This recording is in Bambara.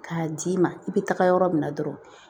K'a d'i ma i bɛ taga yɔrɔ min na dɔrɔn